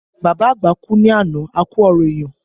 Bàbá àgbà kú ní àná, a ku ọrọ èèyàn